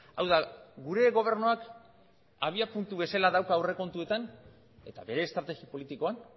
hau da gure gobernuak abiapuntu bezala dauka aurrekontuetan eta bere estrategi politikoan